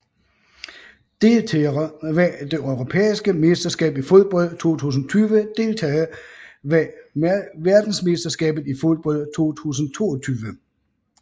Deltagere ved det europæiske mesterskab i fodbold 2020 Deltagere ved verdensmesterskabet i fodbold 2022